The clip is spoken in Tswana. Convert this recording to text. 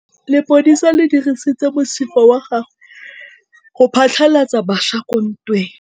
Lepodisa le dirisitse mosifa wa gagwe go phatlalatsa batšha mo ntweng.